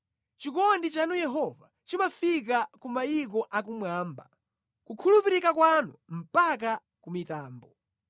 Chikondi chanu Yehova, chimafika ku mayiko a kumwamba, kukhulupirika kwanu mpaka ku mitambo.